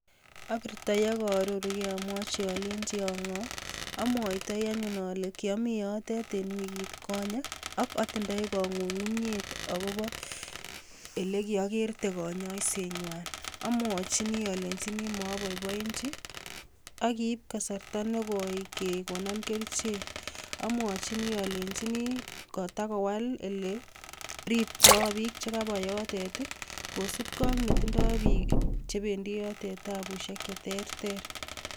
Abirto i ak aaroruu alenyi anee ko angoo, amwoitoi anyun ole kiomiten yotet en wikitkonye, ako atindo kangunyngunyet akoobo ole kiokertee konyoisetnywan, amwochini alenyini moboiboenyiii, ak kiib kasarta nekoi kekonon kerichek, amwochini olenyini kotakowal ele ribtoi biik chekabwaa yotet i,kosiibge ak netindoi biik chebendi yotet tabusiek cheterter.